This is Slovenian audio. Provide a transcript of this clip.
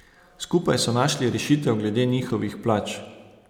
Skupaj so našli rešitev glede njihovih plač.